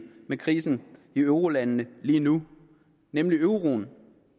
med krisen i eurolandene lige nu nemlig euroen